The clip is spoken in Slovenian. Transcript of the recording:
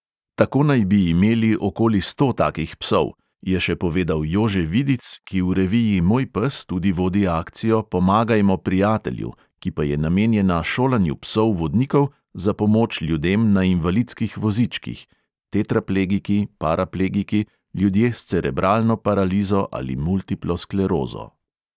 "Tako naj bi imeli okoli sto takih psov," je še povedal jože vidic, ki v reviji moj pes tudi vodi akcijo pomagajmo prijatelju, ki pa je namenjena šolanju psov vodnikov za pomoč ljudem na invalidskih vozičkih (tetraplegiki, paraplegiki, ljudje s cerebralno paralizo ali multiplo sklerozo).